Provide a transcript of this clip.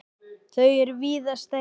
Þau er víða stærri.